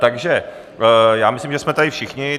Takže já myslím, že jsme tady všichni.